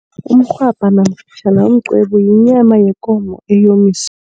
Umrhwabha nomqwebu yinyama yekomo